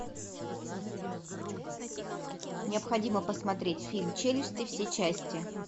необходимо посмотреть фильм челюсти все части